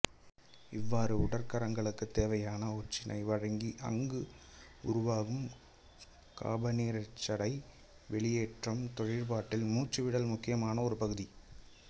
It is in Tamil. இவ்வாறு உடற் கலங்களுக்குத் தேவையான ஒட்சிசனை வழங்கி அங்கு உருவாகும் காபனீரொட்சைடை வெளியேற்றும் தொழிற்பாட்டில் மூச்சுவிடல் முக்கியமான ஒரு பகுதி